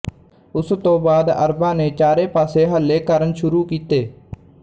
ਉਸ ਤੋਂ ਬਾਅਦ ਅਰਬਾਂ ਨੇ ਚਾਰੇ ਪਾਸੇ ਹੱਲੇ ਕਰਨ ਸ਼ੁਰੂ ਕੀਤੇ